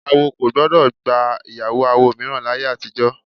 Awo kò gbọ́dọ̀ gba ìyàwó awo mìíràn láyé àtijọ́